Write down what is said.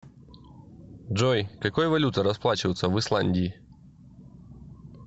джой какой валютой расплачиваются в исландии